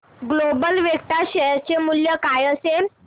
global Vectra share चे मूल्य काय असेल